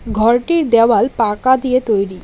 ঘরটির দেওয়াল পাকা দিয়ে তৈরি।